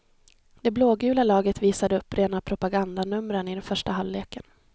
Det blågula laget visade upp rena propagandanumren i den första halvleken.